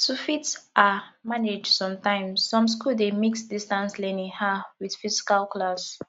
to fit um manage sometimes some school dey mix distance learning um with physical class